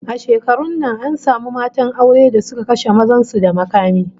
A shekarun nan an samu matan aure da suka kashe mazan su da makami